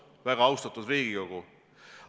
Väga austatud Riigikogu!